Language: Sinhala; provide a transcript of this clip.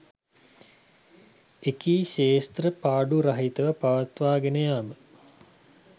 එකී ක්‍ෂේත්‍ර පාඩු රහිතව පවත්වාගෙන යාම